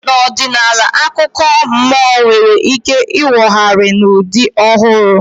N'ọdịnihu, akụkọ mmụọ nwere ike inwogharị n'ụdị ọhụrụ